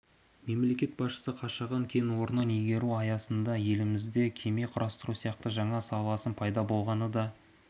мемлекет басшысы қашаған кен орнын игеру аясында елімізде кеме құрастыру сияқты жаңа саланың пайда болғанын да